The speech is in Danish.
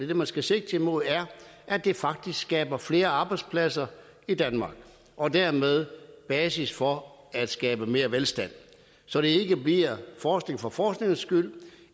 det man skal sigte mod er at det faktisk skaber flere arbejdspladser i danmark og dermed basis for at skabe mere velstand så det ikke bliver forskning for forskningens skyld